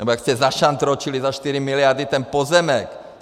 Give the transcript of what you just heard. Nebo jak jste zašantročili za 4 miliardy ten pozemek.